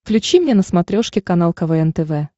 включи мне на смотрешке канал квн тв